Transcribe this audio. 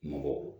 Mɔgɔ